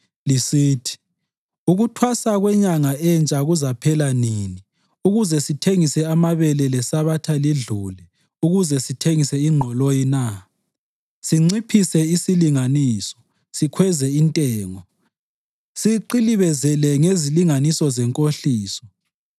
lisithi, “Ukuthwasa kweNyanga Entsha kuzaphela nini ukuze sithengise amabele, leSabatha lidlule ukuze sithengise ingqoloyi na?” Sinciphise isilinganiso, sikhweze intengo siqilibezele ngezilinganiso zenkohliso,